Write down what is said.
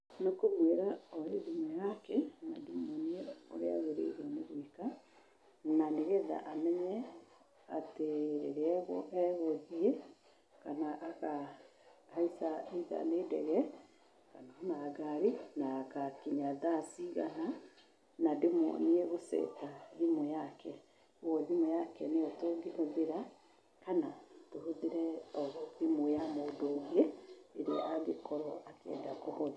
Nĩ kũmwĩra oe thimũ yake, na ndĩmuonie ũrĩa agĩrĩirwo nĩgwĩka, na nĩgetha amenye atĩ rĩrĩa egũthiĩ, kana akahaica either nĩ ndege, kana o na ngari, na agakinya thaa cigana, na ndĩmuonie gũceta thimũ yake, ũguo thimũ yake nĩyo tũngĩhũthĩra, kana tũhũthĩre o thimũ ya mũndũ ũngĩ, ĩrĩa angĩkorwo akĩenda kũhũthĩra.